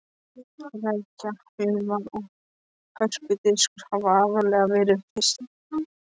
Rækja, humar og hörpudiskur hafa aðallega verið fryst.